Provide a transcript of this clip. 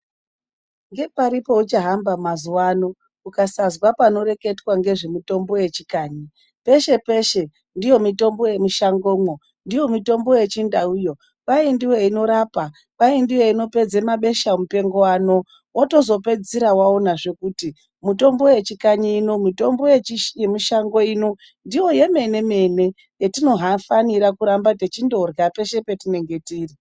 Ngepari peuchahamba mazuwa ano, ukasazwa panoreketwa ngezvemitombo yechikanyi. Peshe-peshe ndiyo mitombo yemushangomwo, ndiyo mitombo yechindauyo, kwaindiyo inorapa, kwaindiyo inopedza mabeshamupengo ano. Wotozopedzisira waona kuti mitombo yechikanyi, mitombo yemushango muno ndiyo yemene-mene yetinofanira kuramba techindorya peshe petinenge tiri.